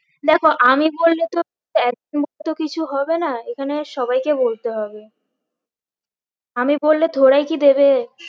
দেখো আমি বললে তো কিছু হবে না এখানে সবাইকে বলতে হবে আমি বললে থোরাই কি দেবে